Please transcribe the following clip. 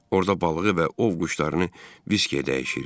Orada balığı və ov quşlarını viskiyə dəyişirdi.